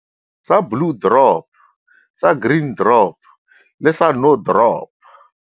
Sa Blue Drop, sa Green Drop le sa No Drop.